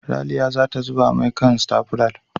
Ralia za ta zuba mai a kan stafular.